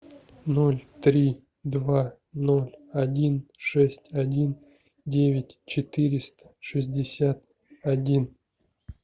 ноль три два ноль один шесть один девять четыреста шестьдесят один